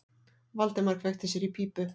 Valdimar kveikti sér í pípu.